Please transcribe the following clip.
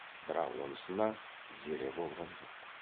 бірақ онысына зере болған жоқ